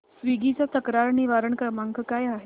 Swiggy चा तक्रार निवारण क्रमांक काय आहे